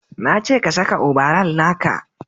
na ce ka saka obaral naka!